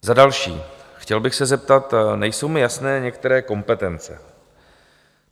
Za další - chtěl bych se zeptat, nejsou mi jasné některé kompetence.